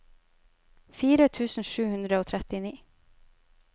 fire tusen sju hundre og trettini